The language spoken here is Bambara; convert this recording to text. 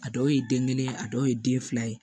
A dɔw ye den kelen a dɔw ye den fila ye